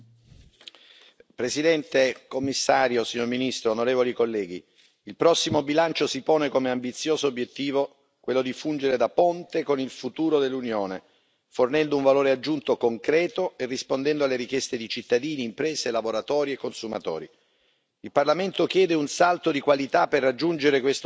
Signora Presidente, Commissario, signor Ministro, onorevoli colleghi, il prossimo bilancio si pone come ambizioso obiettivo quello di fungere da ponte con il futuro dell'Unione, fornendo un valore aggiunto concreto e rispondendo alle richieste di cittadini, imprese, lavoratori e consumatori.